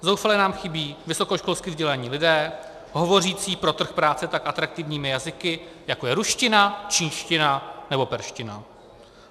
Zoufale nám chybí vysokoškolsky vzdělaní lidé hovořící pro trh práce tak atraktivními jazyky, jako je ruština, čínština nebo perština.